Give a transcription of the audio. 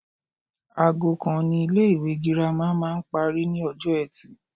Aago kan ni ilé ìwé girama máa ń parí ní ọjọ́ etì